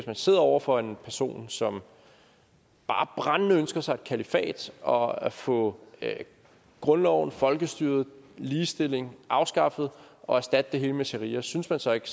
man sidder over for en person som bare brændende ønsker sig et kalifat og at få grundloven og folkestyret og ligestillingen afskaffet og erstattet med sharia synes man så ikke